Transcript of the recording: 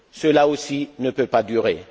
Cela aussi ne peut pas durer.